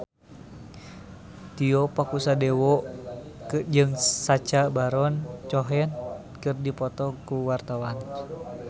Tio Pakusadewo jeung Sacha Baron Cohen keur dipoto ku wartawan